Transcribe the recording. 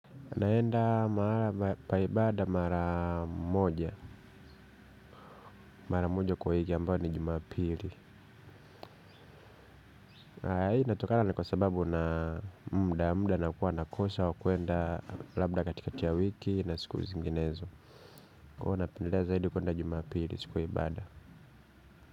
Naenda mahali pa ibada mara moja. Mara moja kwa wiki ambao ni jumapili. Haya hii inatokana ni kwa sababu na muda mda na kuwa nakosa ya kuenda labda katikati ya wiki na siku zinginezo. Huwa napendelea zaidi kuenda jumapili siku ya ibada.